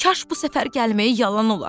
Kaş bu səfər gəlməyi yalan ola.